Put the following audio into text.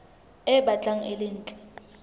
e batlang e le ntle